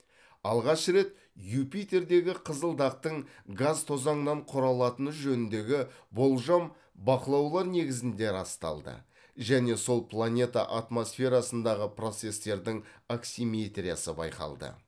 алғаш рет юпитердегі қызыл дақтың газ тозаңнан құралатыны жөніндегі болжам бақылаулар негізінде расталды және сол планета атмосферасындағы процестердің аксиметриясы байқалды